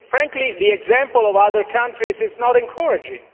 Frankly, the example of other countries is not encouraging.